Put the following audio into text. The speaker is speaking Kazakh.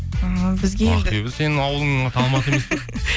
а бізге енді ақбибі сенің ауылыңның аты алматы емес пе